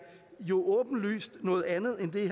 jo åbenlyst noget andet end det